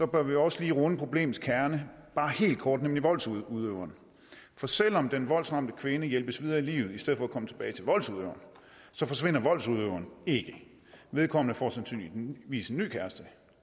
bør vi også lige runde problemets kerne bare helt kort nemlig voldsudøverne for selv om den voldsramte kvinde hjælpes videre i livet i stedet for at komme tilbage til voldsudøveren forsvinder voldsudøveren ikke vedkommende får sandsynligvis en ny kæreste